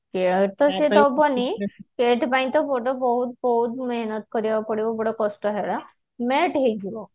ସେଇଥି ପାଇଁ ତ ବଡ ବହୁତ ବହୁତ ମେହେନତ କରିବାକୁ ପଡିବ ଯୋଉଟା କଷ୍ଟ ହେରା NET ହେଇଯିବ